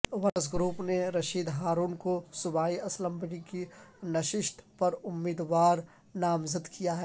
workers group نے رشید ہارون کو صوبائی اسمبلی کی نشست پر امیدوار نامزد کیا ہے